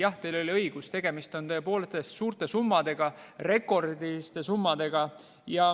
Jah, teil on õigus, tegemist on suurte summadega, rekordiliste summadega.